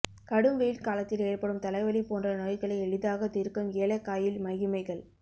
கடும் வெயில் காலத்தில் ஏற்படும் தலைவலி போன்ற நோய்களை எளிதாக தீர்க்கும் ஏலக்காயில் மகிமைகள்